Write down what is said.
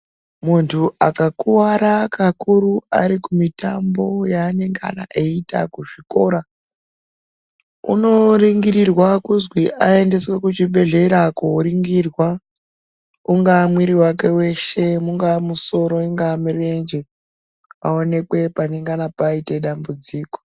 Muntu akakuwara kakuru ari kumitambo yaanengana eitamba kuchikora unoringirirwa kuzwi aendeswe kuzviibhedhleya koringirwa ungaa mwiri wake weshe ungaa musoro ungaa murenje kuti aonekwe panengana paita dambudziko.